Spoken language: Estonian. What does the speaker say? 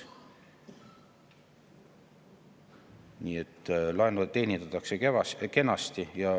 Nii et laenu teenindatakse kenasti.